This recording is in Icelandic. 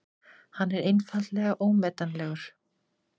Hann er einfaldlega ómetanlegur.